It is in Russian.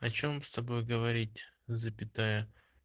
о чём с тобой говорить запятая